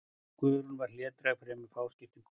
Guðrún var hlédræg og fremur fáskiptin kona.